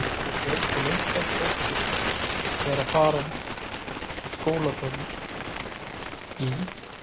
Við Björg og Linda þóttumst vera að fara á skólaböll í